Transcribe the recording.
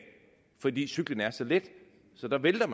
fordi cyklen er så let så man vælter